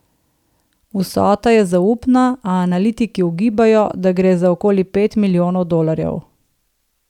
Vsota je zaupna, a analitiki ugibajo, da gre za okoli pet milijonov dolarjev.